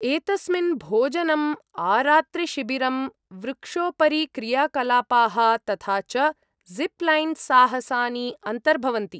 एतस्मिन् भोजनम्, आरात्रिशिबिरम्, वृक्षोपरिक्रियाकलापाः तथा च ज़िप् लैन् साहसानि अन्तर्भवन्ति।